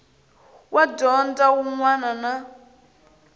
wa dyondzo wun wana na